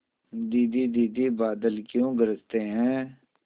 दीदी दीदी बादल क्यों गरजते हैं